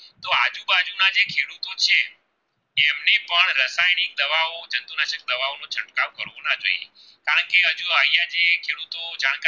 ખેડૂતો જ્યાં